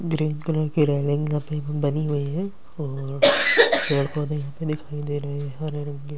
green colour की railing लगी बनी हुई हैं और पेड़ पौधे दिखाई दे रहे हैं हरे रंग के--